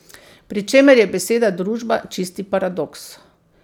Pri čemer je beseda družba čisti paradoks.